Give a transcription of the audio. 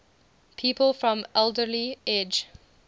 people from alderley edge